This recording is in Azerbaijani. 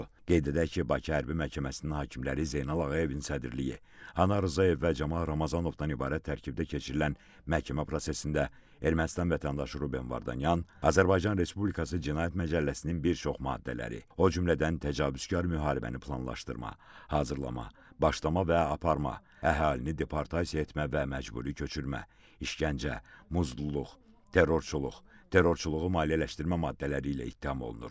Qeyd edək ki, Bakı Hərbi Məhkəməsinin hakimləri Zeynal Ağayevin sədrliyi, Anar Rzayev və Camal Ramazanovdan ibarət tərkibdə keçirilən məhkəmə prosesində Ermənistan vətəndaşı Ruben Vardanyan Azərbaycan Respublikası Cinayət Məcəlləsinin bir çox maddələri, o cümlədən təcavüzkar müharibəni planlaşdırma, hazırlama, başlama və aparma, əhalini deportasiya etmə və məcburi köçürmə, işgəncə, muzluluq, terrorçuluq, terrorçuluğu maliyyələşdirmə maddələri ilə ittiham olunur.